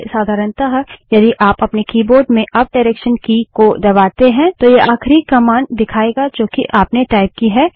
पहले साधारणतः यदि आप अपने कीबोर्ड में अप डायरेक्सन की की को दबाते हैं तो यह आखिरी कमांड दिखायेगा जो कि आपने टाइप की है